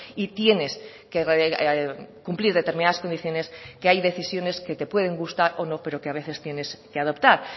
y tienes que cumplir determinadas condiciones que hay decisiones que te pueden gustar o no pero que a veces tienes que adoptar